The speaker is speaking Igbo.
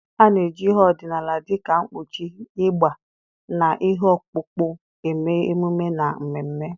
A na-eji ihe ọdịnala dịka nkpuchi, ịgbà, na ihe ọkpụkpụ eme emume na mmemme.